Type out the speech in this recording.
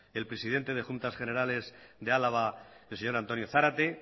el presidente de juntas generales de álava el señor antonio zarate